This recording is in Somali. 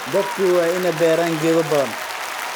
Dadku waa inay beeraan geedo badan.